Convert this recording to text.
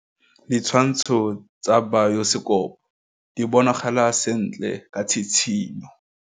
Ditshwantshô tsa biosekopo di bonagala sentle ka tshitshinyô.